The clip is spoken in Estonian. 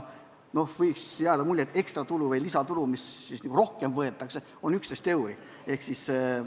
Võiks jääda mulje, et ekstratulu või lisatulu, mis nagu rohkem võetakse, on 11 eurot.